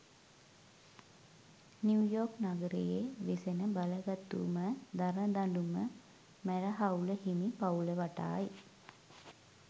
New York නගරයේ වෙසෙන බලගතුම දරදඬුම මැර හවුල හිමි පවුල වටායි